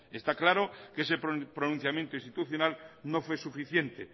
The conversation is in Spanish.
está claro que ese pronunciamiento institucional no fue suficiente